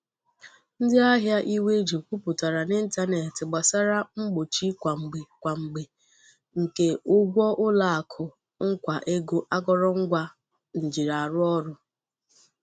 Ndị ahịa iwe ji kwuputara n'ịntanetị gbasara mgbochi kwa mgbe kwa Mgbe nke ụgwọ ụlọakụ nkwa ego akọrọngwa njiarụọrụ́.